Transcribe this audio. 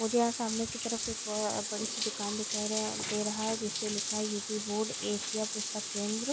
मुझे यहाँ सामने की तरफ एक ब बड़ी सी दुकान दिखाई रहे दे रहा है जिसपे लिखा है यू_पी बोर्ड एशिया पुस्तक केंद्र।